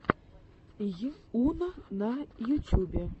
йуна на ютюбе